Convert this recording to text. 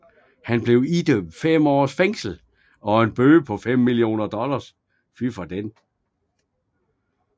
Han blev idømt 5 års fængsel og en bøde på 5 millioner dollars